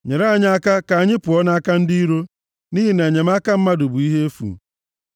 Nyere anyị aka ka anyị pụọ nʼaka ndị iro, nʼihi na inyeaka mmadụ bụ ihe efu.